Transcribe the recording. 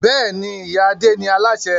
Bẹ́ẹ̀ni, ìyá Adé ni Aláṣẹ